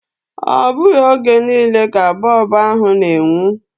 Ọ bụghị oge niile ka bọb ahu na-enwu.